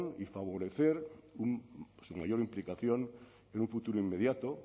y favorecer su mayor implicación en un futuro inmediato